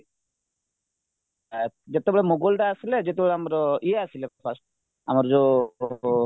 ଆ ଯେତେବେଳେ ମୋଗଲ ଆସିଲେ ଯେତେବେଳେ ଆମର ଇଏ ଆସିଲେ fast ଆମର ଯୋଉ ଉ